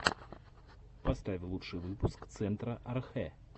поставь лучший выпуск центра архэ